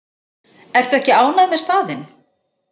Ertu ekki ánægð með staðinn?